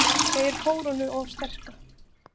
Segir krónuna of sterka